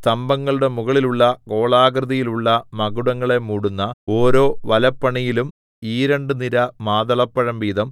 സ്തംഭങ്ങളുടെ മുകളിലുള്ള ഗോളാകൃതിയിലുള്ള മകുടങ്ങളെ മൂടുന്ന ഓരോ വലപ്പണിയിലും ഈരണ്ടുനിര മാതളപ്പഴം വീതം